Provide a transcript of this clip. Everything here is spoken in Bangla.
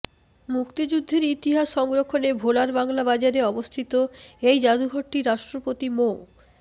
মুক্তিযুদ্ধের ইতিহাস সংরক্ষণে ভোলার বাংলাবাজারে অবস্থিত এই জাদুঘরটি রাষ্ট্রপতি মো